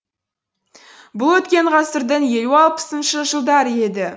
бұл өткен ғасырдың елу алпысыншы жылдары еді